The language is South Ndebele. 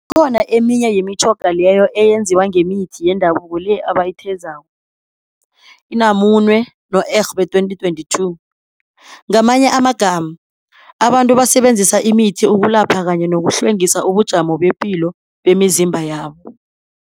Kukhona eminye yemitjhoga leyo eyenziwa ngemithi yendabuko le ebayithezako, Namuene no-Egbe 2022. Ngamanye amagama, abantu basenzisa imithi ukulapha kanye nokuhlengisa ubujamo bepilo bemizimba yabo.